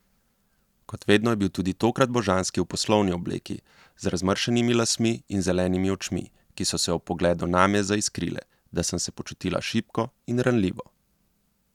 Kot vedno je bil tudi tokrat božanski v poslovni obleki, z razmršenimi lasmi in zelenimi očmi, ki so se ob pogledu name zaiskrile, da sem se počutila šibko in ranljivo.